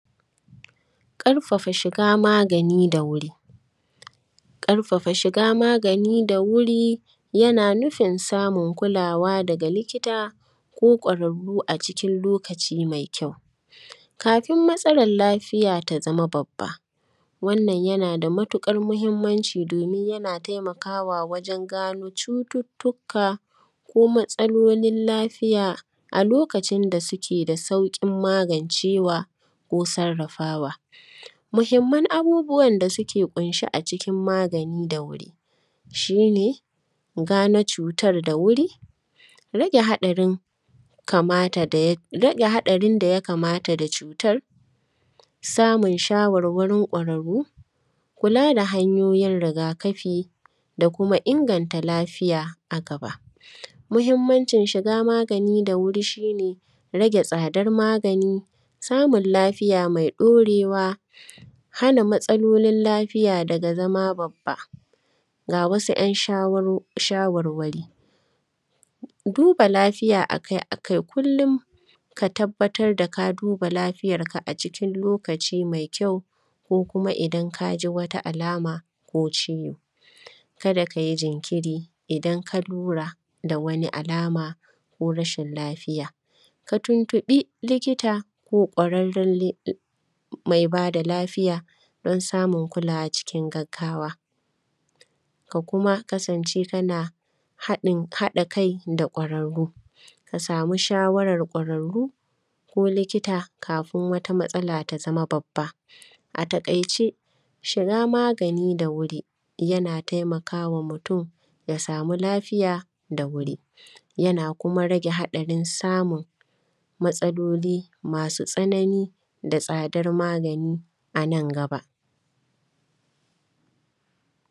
Ƙarfafa shiga magani da wuri. Ƙarfafa shiga magani da wuri, yana nufin samun kulawa daga likita ko ƙwararru a cikin lokaci mai kyau. Kafin matsalar lafiya ta zama babba, wannan yana da matuƙar muhimmanci domin yana taimakawa wajen gano cututtuka ko matsalolin lafiya a lokacin da suke da sauƙin magancewa ko sarrafawa. Muhimman abubuwan da suke ƙunshe a cikin magani da wuri, shi ne gane cutar da wuri, rage haɗarin kamata da ya; rage haɗarin da ya kamata da cutar, samun shawarwarin ƙwararru, kula da hanyoyin riga-kafi da kuma inganta lafiya a gaba. Muhimmancin shiga magani da wuri, shi ne rage tsadar magani, samun lafiya mai ɗorewa, hana matsalolin lafiya daga zama babba. Ga wasu ‘yan shawaro; shawarwari, duba lafiya a kai a kai kulli ka tabbatar da ka duba lafiyarka a cikin lokaci mai kyau ko kuma idan ka ji wata alama ko ciwo. Kada ka yi jinkiri idan ka lura da wani alama ko rashin lafiya. Ka tuntuƃi likita ko ƙwararren li; mai ba da lafiya, don samun kulawa cikin gaggawa. Ka kuma kasance kana haɗin; haɗa kai da ƙwararru, ka samu shawarar ƙwararru ko likita, kafin wata matsala ta zama babba. A taƙaice, shiga magani da wuri, yana taimaka wa mutum ya samu lafiya da wuri, yana kuma rage haɗarin samun matsaloli masu tsanani da tsadar magani a nan gaba.